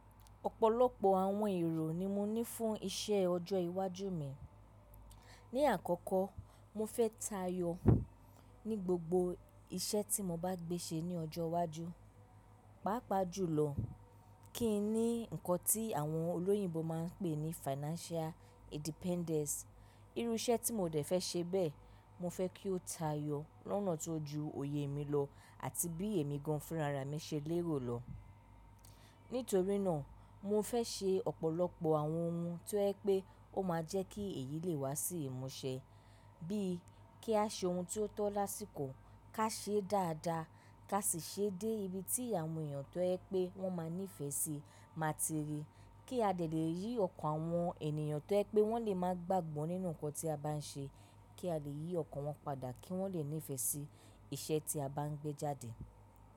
Ọ̀pọ̀lọpọ̀ àwọn èrò ni mo ní fún iṣẹ́ ọjọ́ iwájú mi. Ni àkọ́kọ́, mo fẹ́ tayọ ní gbogbo iṣẹ́ tí mo bá gbé ṣe ní ọjọ́ iwájú. Paapaa jùlọ kí n ní nǹkan tí àwọn olóyinbo máa ń pè ní financial independence. Irú iṣẹ́ tí mo dẹ̀ fẹ́ ṣe bẹ́ẹ̀, mo fẹ́ kí ó tayọ lọ́nà tó ju òye mi lọ àti bí èmi gan-an fun ràrá mi ṣe lérò lọ. Nítorí náà, mo fẹ́ ṣe ọ̀pọ̀lọpọ̀ àwọn ohun tó yẹ́ pé ó máa jẹ́ kí èyí lè wá sí ìmúṣẹ. Bíi kí a ṣe ohun tó tọ́ lásìkò, ká ṣe é dáadáa, ká sì ṣe é dé ibi tí àwọn èèyàn tó yẹ́ pé wọ́n máa nífẹ̀ẹ́ sí máa ti rí. Kí a dẹ́ lè yí ọkàn àwọn ènìyàn tó yẹ́ pé wọ́n lè máa gbàgbọ́ nínú nǹkan tí a bá ń ṣe, kí a lè yí ọkàn wọn padà kí wọ́n lè nífẹ̀ẹ́ sí ìṣe tí a bá ń gbé jáde.